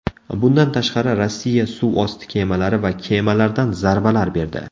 Bundan tashqari, Rossiya suvosti kemalari va kemalardan zarbalar berdi.